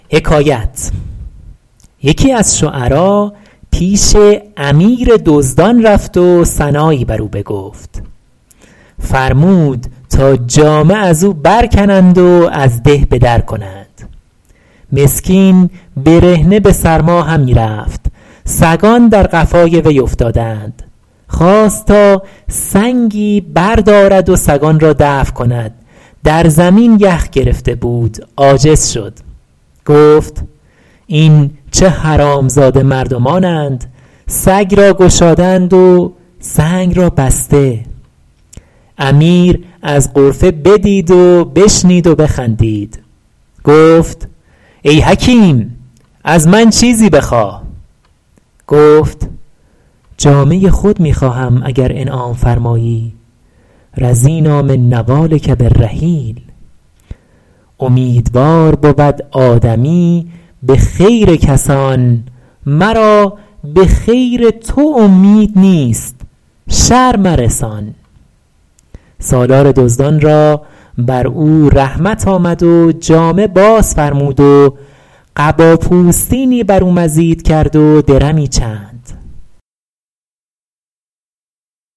یکی از شعرا پیش امیر دزدان رفت و ثنایی بر او بگفت فرمود تا جامه از او برکنند و از ده به در کنند مسکین برهنه به سرما همی رفت سگان در قفای وی افتادند خواست تا سنگی بردارد و سگان را دفع کند در زمین یخ گرفته بود عاجز شد گفت این چه حرامزاده مردمانند سگ را گشاده اند و سنگ را بسته امیر از غرفه بدید و بشنید و بخندید گفت ای حکیم از من چیزی بخواه گفت جامه خود می خواهم اگر انعام فرمایی رضینٰا من نوالک بالرحیل امیدوار بود آدمی به خیر کسان مرا به خیر تو امید نیست شر مرسان سالار دزدان را بر او رحمت آمد و جامه باز فرمود و قبا پوستینی بر او مزید کرد و درمی چند